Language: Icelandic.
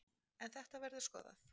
En þetta verður skoðað.